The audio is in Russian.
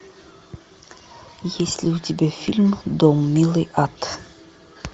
есть ли у тебя фильм дом милый ад